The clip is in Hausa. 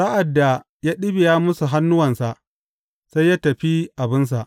Sa’ad da ya ɗibiya musu hannuwansa, sai ya tafi abinsa.